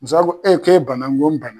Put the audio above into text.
Musokɔrɔba ko e k'e bana n ko n bana